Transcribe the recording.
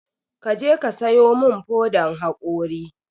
Kaje ka sayo mun fodan haƙori